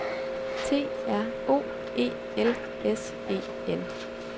T R O E L S E N